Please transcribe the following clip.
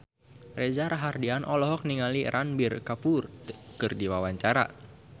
Reza Rahardian olohok ningali Ranbir Kapoor keur diwawancara